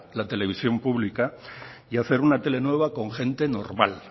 la televisión pública y hacer una tele nueva con gente normal